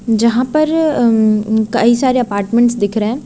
यहां पर उम्म कई सारे अपार्टमेंटस दिख रहें हैं।